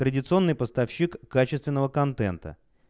традиционный поставщик качественного контента